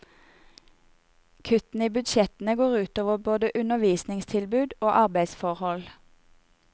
Kuttene i budsjettene går ut over både undervisningstilbud og arbeidsforhold.